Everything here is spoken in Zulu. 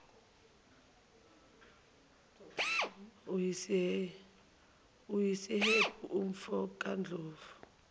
usiyephu umfo kandlovu